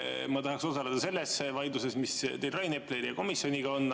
Ma tahaksin osaleda selles vaidluses, mis teil Rain Epleriga komisjoni teemal on.